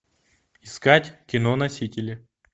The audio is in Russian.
искать кино носители